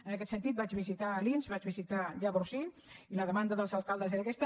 en aquest sentit vaig visitar alins vaig visitar llavorsí i la demanda dels alcaldes era aquesta